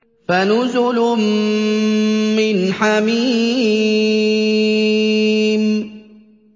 فَنُزُلٌ مِّنْ حَمِيمٍ